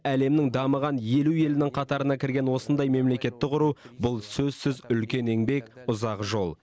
әлемнің дамыған елу елінің қатарына кірген осындай мемлекетті құру сөзсіз үлкен еңбек ұзақ жол